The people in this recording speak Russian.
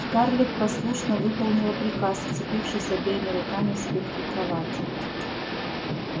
скарлетт послушно выполнила приказ вцепившись обеими руками в спинку кровати